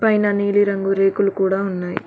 పైన నీలి రంగు రేకులు కూడా ఉన్నాయి.